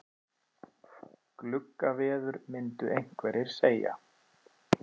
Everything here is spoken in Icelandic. Gluggaveður myndu einhverjir segja.